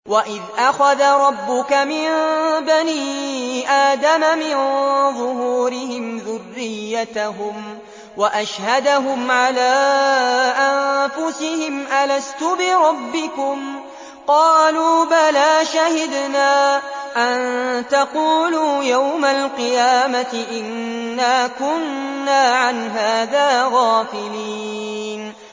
وَإِذْ أَخَذَ رَبُّكَ مِن بَنِي آدَمَ مِن ظُهُورِهِمْ ذُرِّيَّتَهُمْ وَأَشْهَدَهُمْ عَلَىٰ أَنفُسِهِمْ أَلَسْتُ بِرَبِّكُمْ ۖ قَالُوا بَلَىٰ ۛ شَهِدْنَا ۛ أَن تَقُولُوا يَوْمَ الْقِيَامَةِ إِنَّا كُنَّا عَنْ هَٰذَا غَافِلِينَ